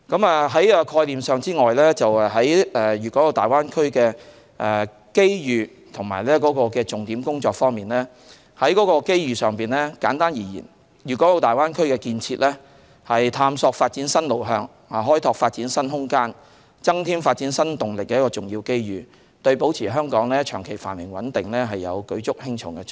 除概念外，在粵港澳大灣區的機遇和重點工作方面，簡單而言，粵港澳大灣區建設是探索發展新路向、開拓發展新空間、增添發展新動力的重要機遇，對保持香港長期繁榮穩定有舉足輕重的作用。